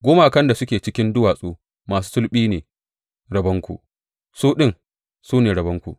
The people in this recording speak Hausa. Gumakan da suke cikin duwatsu masu sulɓi su ne rabonku; su ɗin, su ne rabonku.